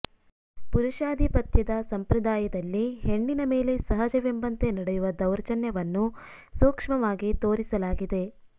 ಪುರುಷಾಧಿಪತ್ಯದ ಸಂಪ್ರದಾಯದಲ್ಲಿ ಹೆಣ್ಣಿನ ಮೇಲೆ ಸಹಜವೆಂಬಂತೆ ನಡೆಯುವ ದೌರ್ಜನ್ಯವನ್ನು ಸೂಕ್ಷ್ಮವಾಗಿ ತೋರಿಸಲಾಗಿದೆ